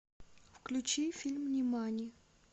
включи фильм нимани